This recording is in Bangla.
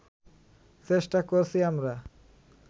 চেষ্টা করছি আমরা